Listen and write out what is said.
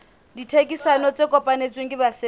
ditherisano tse kopanetsweng ke basebetsi